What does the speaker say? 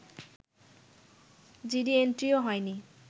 GD এন্ট্রিও হয়নি